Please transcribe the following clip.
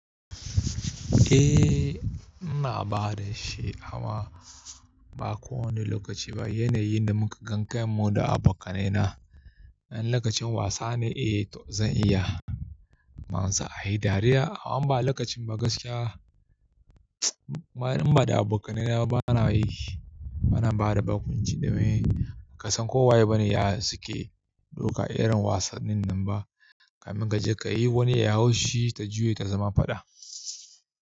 Eh, ina bada shi amma ba kowane lokaci ba. Yane yi da muka gan kai mu da abokanai na. In lokacin wasa ne, eh to zan iya. Manzo a yi dariya amma ba lokacin ba gaskiya. In ba da abokanai na bana yi, bana bada bakunci domin ka san ko waye bane ya suke doka irin wasannin nan ba. Kamin ka je ka yi wani ya hau shi ta juye ta zama fada.